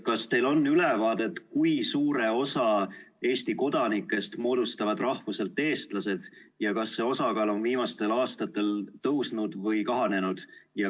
Kas teil on ülevaadet, kui suure osa Eesti kodanikest moodustavad rahvuselt eestlased ja kas nende osa on viimastel aastatel kasvanud või kahanenud?